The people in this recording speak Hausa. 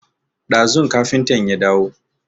Ɗazun kafintan ya dawo